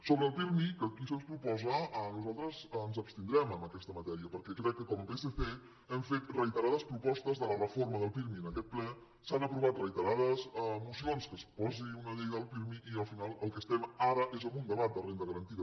sobre el pirmi que aquí se’ns proposa nosaltres ens abstindrem en aquesta matèria perquè crec que com a psc hem fet reiterades propostes de la reforma del pirmi en aquest ple s’han aprovat reiterades mocions que es posi una llei del pirmi i al final amb el que estem ara és amb un debat de renda garantida